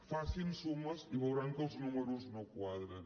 facin sumes i veuran que els números no quadren